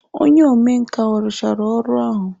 Onye omenkà ọ rụchara ọrụ ahụ?